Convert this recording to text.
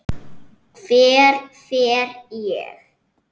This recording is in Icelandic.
Hver fer ég?